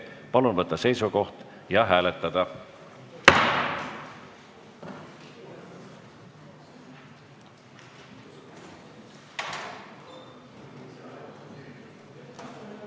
Palun võtta seisukoht ja hääletada!